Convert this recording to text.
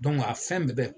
a fɛn bɛɛ bɛ